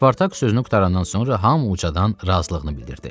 Spartak sözünü qurtarandan sonra hamı ucadan razılığını bildirdi.